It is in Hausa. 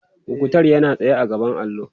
muktar yana tsaye a gaban allo